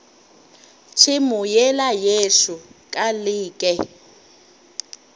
tšhemo yela yešo ka leke